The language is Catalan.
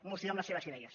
moció amb les seves idees